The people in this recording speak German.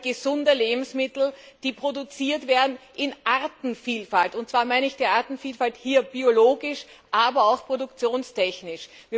Wir wollen gesunde Lebensmittel, die produziert werden in Artenvielfalt, und zwar meine ich die Artenvielfalt hier biologisch, aber auch produktionstechnisch.